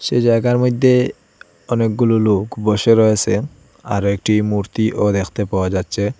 সেই জায়গার মধ্যে অনেকগুলো লোক বসে রয়েছে আরো একটি মূর্তিও দেখতে পাওয়া যাচ্ছে।